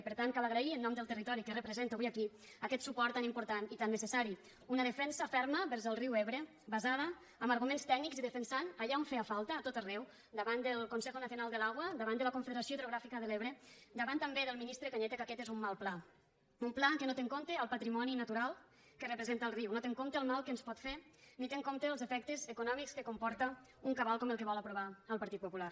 i per tant cal agrair en nom del territori que represento avui aquí aquest suport tan important i tan necessari una defensa ferma vers el riu ebre basada en arguments tècnics i defensant allà on feia falta a tot arreu davant del consejo nacional del agua davant de la confederació hidrogràfica de l’ebre davant també del ministre cañete que aquest és un mal pla un pla que no té en compte el patrimoni natural que representa el riu no té en compte el mal que ens pot fer ni té en compte els efectes econòmics que comporta un cabal com el que vol aprovar el partit popular